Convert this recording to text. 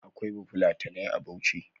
Akwai bafulatanai a bauchi